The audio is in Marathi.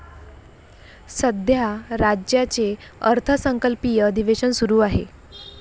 सध्या राज्याचे अर्थसंकल्पीय अधिवेशन सुरु आहे.